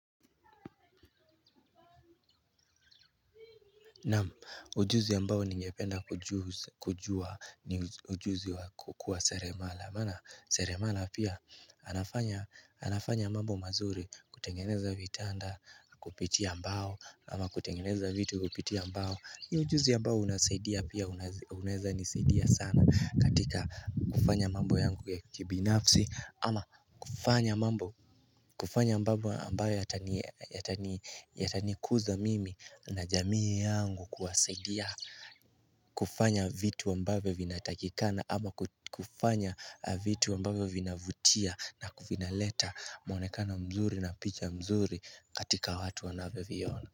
Naam ujuzi ambao ningependa kujua ni ujuzi wa kukua seremala maana seremala pia anafanya mambo mazuri kutengeneza vitanda kupitia mbao, ama kutengeneza vitu kupitia mbao. Ni ujuzi ambao unasaidia pia unaweza nisaidia sana katika kufanya mambo yangu ya kibinafsi, ama kufanya mambo kufanya mambo ambayo yatanikuza mimi na jamii yangu kuwasaidia kufanya vitu ambayo vinatakikana ama kufanya vitu ambavyo vinavutia na vinaleta mwonekano mzuri na picha mzuri katika watu wanavyoviona.